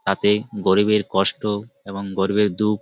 হাতে গরিবের কষ্ট এবং গরিবের দুঃখ--